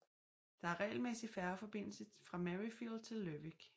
Der er regelmæssig færgeforbindelse fra Maryfield til Lerwick